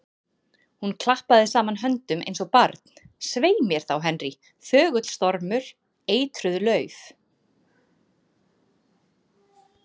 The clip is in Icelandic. Hún klappaði saman höndum eins og barn: Svei mér þá, Henry, þögull stormur, eitruð lauf.